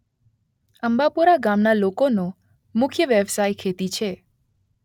અંબાપુરા ગામના લોકોનો મુખ્ય વ્યવસાય ખેતી છે